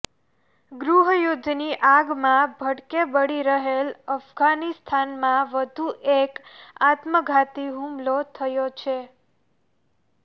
ગૃહયુદ્ધની આગમાં ભડકે બળી રહેલ અફઘાનિસ્તાનમાં વધુ એક આત્મઘાતી હુમલો થયો છે